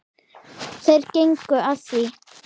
Þeir gengu að því.